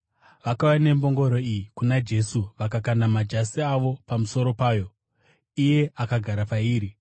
Vakauya nembongoro iyi kuna Jesu vakakanda majasi avo pamusoro payo, iye akagara pairi.